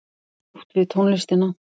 Átt við tónlistina.